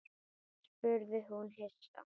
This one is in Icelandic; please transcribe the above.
spurði hún hissa.